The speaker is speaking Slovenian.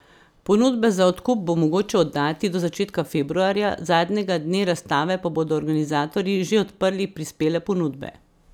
Ponudbe za odkup bo mogoče oddati do začetka februarja, zadnjega dne razstave pa bodo organizatorji že odprli prispele ponudbe.